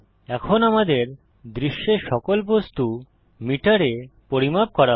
এখন আমাদের দৃশ্যের সকল বস্তু মিটারে পরিমাপ করা হবে